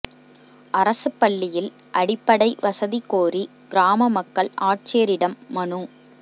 அரசுப் பள்ளியில் அடிப்படை வசதி கோரி கிராம மக்கள் ஆட்சியரிடம் மனு